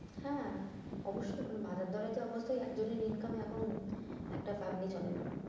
হ্যাঁ অবশ্যই মানে বাজার দরের যা অবস্থা একজনের income এখন একটা family চলে না